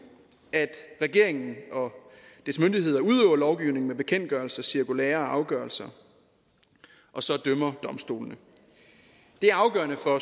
at regeringen og dets myndigheder udøver lovgivning med bekendtgørelser cirkulærer og afgørelser og så dømmer domstolene det er afgørende for